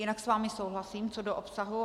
Jinak s vámi souhlasím, co do obsahu.